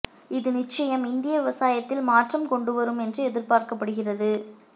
இது நிச்சயம் இந்திய விவசாயத்தில் மாற்றம் கொண்டுவரும் என்று எதிர்பார்க்கப்படுகிறது